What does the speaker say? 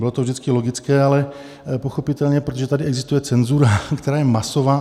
Bylo to vždycky logické, ale pochopitelně, protože tady existuje cenzura, která je masová.